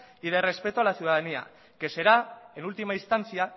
y de respeto a la ciudadanía que será en última instancia